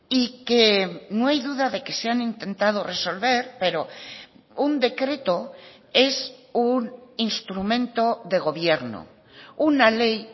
y que no hay duda de que se han intentado resolver pero un decreto es un instrumento de gobierno una ley